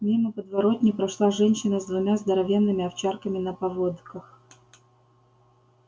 мимо подворотни прошла женщина с двумя здоровенными овчарками на поводках